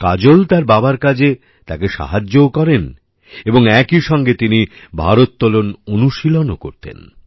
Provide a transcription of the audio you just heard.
কাজল তার বাবার কাজে তাকে সাহায্যও করেন এবং একইসঙ্গে তিনি ভারোত্তোলন অনুশীলনও করতেন